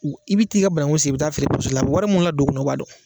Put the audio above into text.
I bɛ taa i ka bananku sen i bɛ taa feere la wari mun ladon u kunna u b'a dɔn